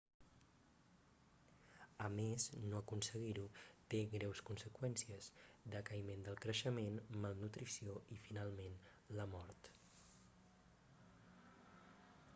a més no aconseguir-ho té greus conseqüències decaïment del creixement malnutrició i finalment la mort